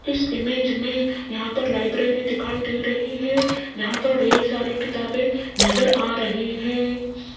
इस इमेज में यहां पर लाइब्रेरी दिखाई दे रही है जहां पर ढेर सारी किताबें नजर आ रही हैं।